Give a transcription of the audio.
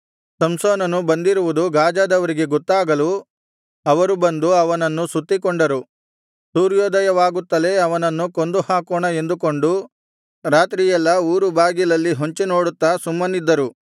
ಸಂಸೋನನು ಬಂದಿರುವುದು ಗಾಜದವರಿಗೆ ಗೊತ್ತಾಗಲು ಅವರು ಬಂದು ಅವನನ್ನು ಸುತ್ತಿಕೊಂಡರು ಸೂರ್ಯೋದಯವಾಗುತ್ತಲೆ ಅವನನ್ನು ಕೊಂದುಹಾಕೋಣ ಎಂದುಕೊಂಡು ರಾತ್ರಿಯೆಲ್ಲಾ ಊರುಬಾಗಲಲ್ಲಿ ಹೊಂಚಿನೋಡುತ್ತಾ ಸುಮ್ಮನಿದ್ದರು